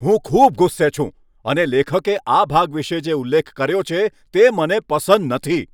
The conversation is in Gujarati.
હું ખૂબ ગુસ્સે છું અને લેખકે આ ભાગ વિશે જે ઉલ્લેખ કર્યો છે, તે મને પસંદ નથી.